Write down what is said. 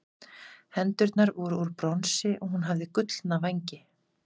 hendurnar voru úr bronsi og hún hafði gullna vængi